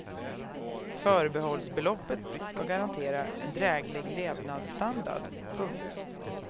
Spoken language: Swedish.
Förbehållsbeloppet ska garantera en dräglig levnadsstandard. punkt